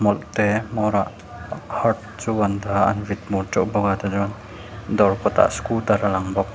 te hmawrah heart chu an dah a an vit bur teuh bawk a tah chuan dawr kawtah scooter a lang bawk.